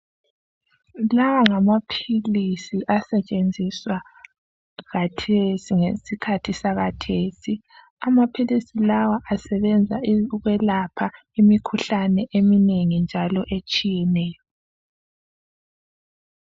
Lawa ngamaphilisi asetshenziswa khathesi ngesikhathi sakhathesi .Amaphilisi lawa asebenza ukwelapha imikhuhlane eminengi njalo etshiyeneyo .